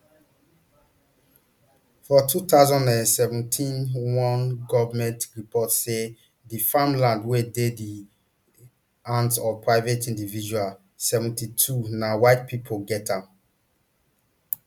for two thousand and seventeen one goment report say di farmland wey dey di hands of private individuals seventy-two na whitepipo get am